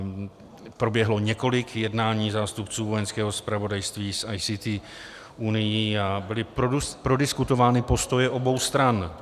Proběhlo několik jednání zástupců Vojenského zpravodajství s ICT Unií a byly prodiskutovány postoje obou stran.